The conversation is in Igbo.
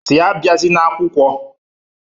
si abiazina akwukwọ